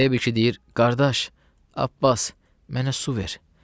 Əyə bir kişi deyir: qardaş, Abbas, mənə su ver.